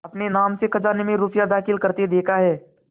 अपने नाम से खजाने में रुपया दाखिल करते देखा है